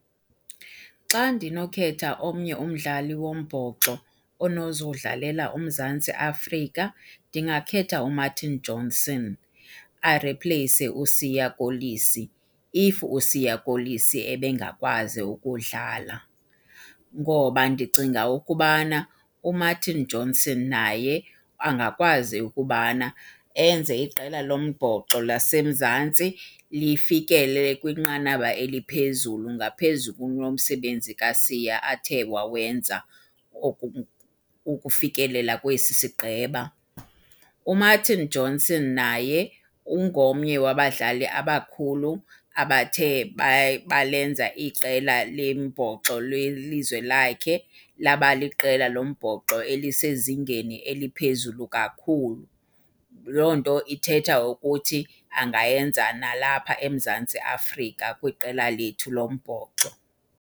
Xa ndinokhetha omnye umdlali wombhoxo onozodlalela uMzantsi Afrika ndingakhetha uMartin Johnson, aripleyise uSiya Kolisi if uSiya Kolisi ebengakwazi ukudlala. Ngoba ndicinga ukubana uMartin Johnson naye angakwazi ukubana enze iqela lombhoxo laseMzantsi lifikelele kwinqanaba eliphezulu ngaphezu kunomsebenzi kaSiya athe wawenza ukufikelela kwesi sigqeba. UMartin Johnson naye ungomnye wabadlali abakhulu abathe balenza iqela lombhoxo lelizwe lakhe laba liqela lombhoxo elisezingeni eliphezulu kakhulu. Loo nto ithetha ukuthi angayenza nalapha eMzantsi Afrika kwiqela lethu lombhoxo.